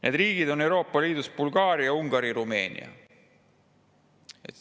Need riigid Euroopa Liidus on Bulgaaria, Ungari ja Rumeenia.